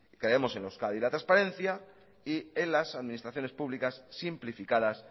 queremos en euskadi la transparencia y en las administraciones públicas simplificadas